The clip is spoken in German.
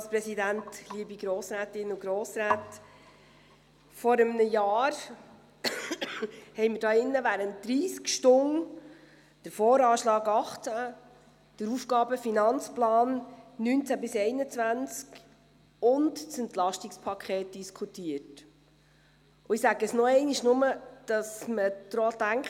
Vor einem Jahr diskutierten wir hier im Saal des Grossen Rates während 30 Stunden den VA 2018, den AFP 2019–2021 und das EP, und ich sage Folgendes noch einmal, nur damit man daran denkt.